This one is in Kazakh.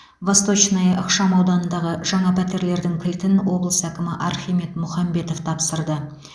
восточная ықшамауданындағы жаңа пәтерлердің кілтін облыс әкімі архимед мұхамбетов тапсырды